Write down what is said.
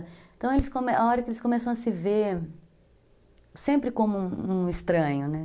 Então, eles, a hora que eles começam a se ver, sempre como um estranho, né?